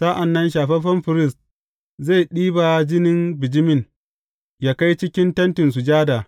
Sa’an nan shafaffen firist zai ɗiba jinin bijimin yă kai cikin Tentin Sujada.